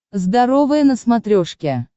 здоровое на смотрешке